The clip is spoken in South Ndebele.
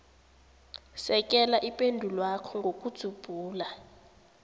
sekela ipendulwakho ngokudzubhula